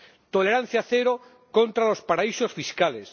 Tolerancia cero contra los paraísos fiscales.